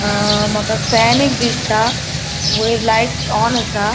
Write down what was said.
अ मका फैन एक दिसता वयर लाइट्स ऑन असा.